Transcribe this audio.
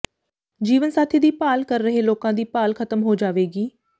ਜੀਵਨ ਸਾਥੀ ਦੀ ਭਾਲ ਕਰ ਰਹੇ ਲੋਕਾਂ ਦੀ ਭਾਲ ਖ਼ਤਮ ਹੋ ਜਾਵੇਗੀ